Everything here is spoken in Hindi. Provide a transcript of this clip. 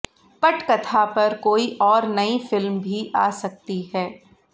पटकथा पर कोई और नई फिल्म भी आ सकती है